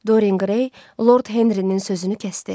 Dorin Qrey Lord Henrinin sözünü kəsdi.